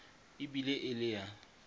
e bile e le ya